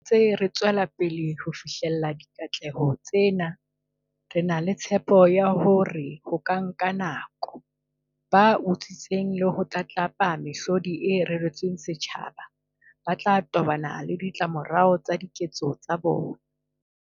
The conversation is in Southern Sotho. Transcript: Ha re ntse re tswelapele ho fihlella dikatleho tsena, re na le tshepo ya hore leha ho ka nka nako, ba utswitseng le ho tlatlapa mehlodi e reretsweng setjhaba ba tla tobana le ditlamorao tsa diketso tsa bona.